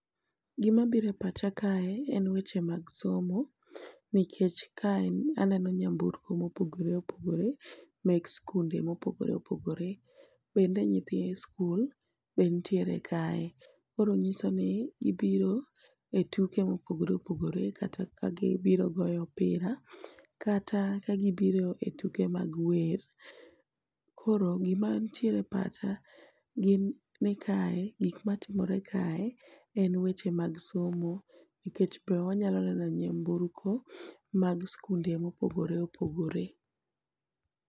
Gima biro e pacha kae en weche mag somo nikech kae aneno nyamburko mopogore opogore mek skunde mopogore opogore, bende nyithi high school be nitiere kae koro nyiso ni gibire tuke mopogore opogore kata ka gibiro goyo opira kata ka gibire tuke mag wer, koro gima nitiere pacha ,gin ni kae gik matimore kae en weche mag somo nikech be wanyalo neneo nyamburko mag skunde mopogore opogore